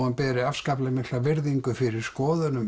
hann beri afskaplega mikla virðingu fyrir skoðunum